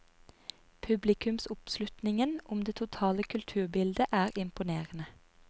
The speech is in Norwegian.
Publikumsoppslutningen om det totale kulturbildet er imponerende.